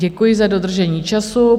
Děkuji za dodržení času.